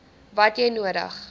wat jy nodig